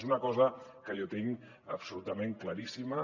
és una cosa que jo tinc absolutament claríssima